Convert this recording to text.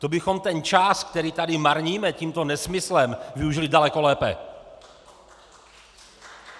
To bychom ten čas, který tady marníme tímto nesmyslem, využili daleko lépe!